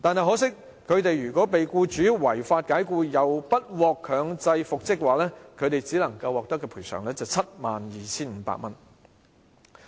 可惜，他們若被僱主違法解僱又不獲強制復職，只能獲得 72,500 元的賠償。